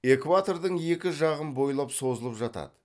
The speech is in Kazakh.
экватордың екі жағын бойлап созылып жатады